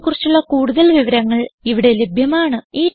ഈ മിഷനെ കുറിച്ചുള്ള കുടുതൽ വിവരങ്ങൾ ഇവിടെ ലഭ്യമാണ്